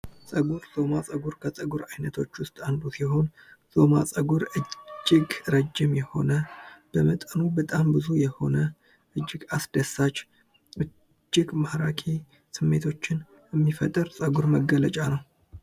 ፀጉር። ዞማ ጸጉር ከፀጉር አይነቶች ውስጥ አንዱ ሲሆን ዞማ ጸጉር እጅግ ረጅም የሆነ፣ በመጠኑ በጣም ብዙ የሆነ ፣እጅግ አስደሳች፣ እጅግ ማራኪ ስሜቶችን የሚፈጥር የፀጉር መገለጫ ነው።